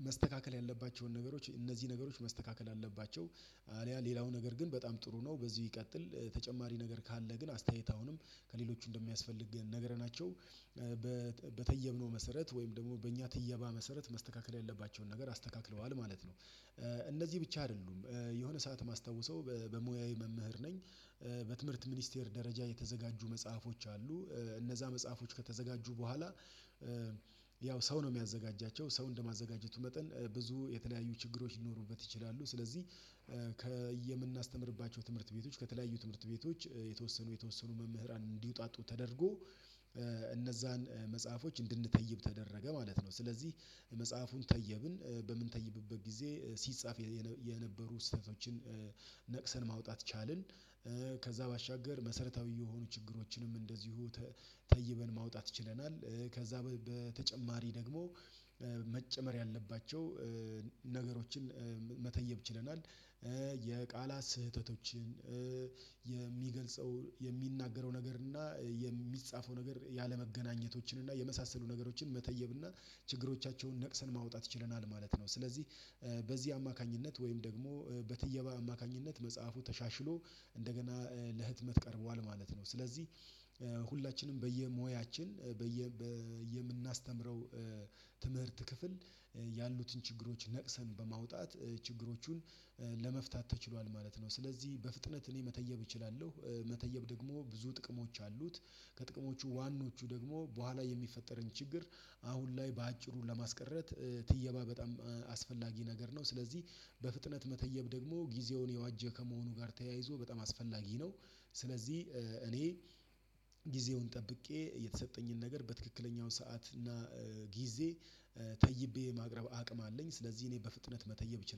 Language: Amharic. እያነበብኩ የትኞቹ ነገሮች መስተካከል አለባቸው የትኞቹ ጥሩ ናቸው የሚለውን ነገር ማየት እችላለሁ ማለት ነው። ስለዚህ አንድ ጓደኛዬ የጻፈውን ነገር ተይብልኝ ብሎ የሚሰጠኝ ከሆነ እንደየጽሁፉ መጠን የሚለያይ ቢሆንም። በተየብነው መሰረት ወይም ደግሞ በእኛ ትየባ መሰረት መስተካከል ያለባቸውን ነገር አስተካክለዋል ማለት ነው። እነዚህ ብቻ አይደሉም የሆነ ሰዓት ማስታወሰው በሙያዬ መምህር ነኝ። በትምህርት ሚኒስቴር ደረጃ የተዘጋጁ መጽሐፎች አሉ። እነዛ መጽሐፎች ከተዘጋጁ በኋላ ያው ሰው ነው የሚያዘጋጃቸው ሰው እንደማዘጋጀቱ መጠን ብዙ የተለያዩ ችግሮች ሊኖሩበት ይችላሉ። ስለዚህ የምናስተምርባቸው ትምህርት ቤቶች ከተለያዩ ትምህርት ቤቶች የተወሰኑ የተወሰኑ መምህራን እንዲወጣጡ ተደርጎ እነዛን መጽሐፎች እንድንተይብ ተደረገ ማለት ነው። ስለዚህ መጽሐፉን ተየብን በምንተይብበት ጊዜ ሲጻፍ የነበሩ ስህተቶችን ነቅሰን ማውጣት ቻልን። ከዛ ባሻገር መሰረታዊ የሆኑ ችግሮችንም እንደዚሁ ተይበን ማውጣት ይችለናል። ከዛ በተጨማሪ ደግሞ መጨመር ያለባቸው ነገሮችን መተየብ ችለናል። የቃላት ስህተቶችን የሚገልጸው የሚናገረው ነገር እና የሚጻፈው ነገር ያለመገናኘቶችን እና የመሳሰሉ ነገሮችን መተየብ እና ችግሮቻቸውን ነቅሰን ማውጣት ይችለናል ማለት ነው። ስለዚህ በዚህ አማካኝነት ወይም ደግሞ በትየባ አማካኝነት መጽሐፉ ተሻሽሎ እንደገና ለህትመት ቀርቧል ማለት ነው። ስለዚህ ሁላችንም በየሞያችን በየምናስተምረው ትምህርት ክፍል ያሉትን ችግሮች ነቅሰን በማውጣት ችግሮቹን ለመፍታት ተችሏል ማለት ነው። ስለዚህ በፍጥነት እኔ መተየብ እችላለሁ። መተየብ ደግሞ ብዙ ጥቅሞች አሉት ከጥቅሞቹ ዋናዎቹ ደግሞ በኋላ የሚፈጠረን ችግር አሁን ላይ በአጭሩ ለማስቀረት ትየባ በጣም አስፈላጊ ነገር ነው። ስለዚህ በፍጥነት መተየብ ደግሞ ጊዜውን የዋጀ ከመሆኑ ጋር ተያይዞ በጣም አስፈላጊ ነው። ስለዚህ እኔ ጊዜውን ጠብቄ የተሰጠኝን ነገር በትክክለኛው ሰዓት እና ጊዜ ተይቤ የማቅረብ አቅም አለኝ። ስለዚህ እኔ በፍጥነት መተየብ እችላለሁ